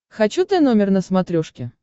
хочу тномер на смотрешке